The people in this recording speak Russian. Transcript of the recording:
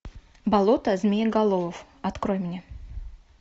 болото змееголовов открой мне